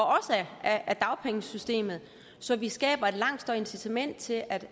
af dagpengesystemet så vi skaber et langt større incitament til at